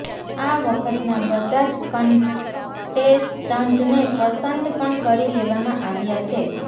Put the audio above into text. આ વખતના બધા જ કન્ટેસ્ટન્ટને પસંદ પણ કરી લેવામાં આવ્યા છે